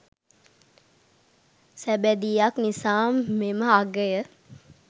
සබැදියක් නිසා මෙම අගය